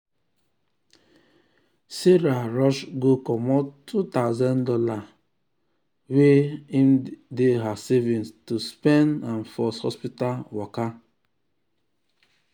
sarah rush go comot two thousand dollars go comot two thousand dollars wey um dey her savings to spend am for hospital waka.